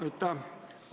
Aitäh!